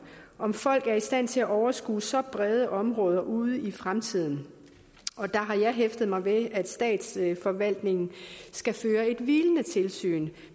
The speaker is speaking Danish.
om folk er i stand til at overskue så brede områder ude i fremtiden og der har jeg hæftet mig ved at statsforvaltningen skal føre et hvilende tilsyn